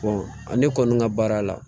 ne kɔni ka baara la